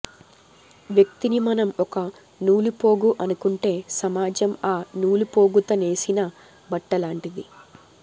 వ్యక్తిని మనం ఒక నూలుపోగు అనుకుంటే సమాజం ఆ నూలుపోగుత నేసిన బట్టలాంటిది